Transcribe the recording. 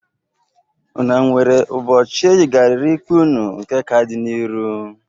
Unu nwere ụbọchị eyigarịrị ikpe unu nke ka dị n'iru?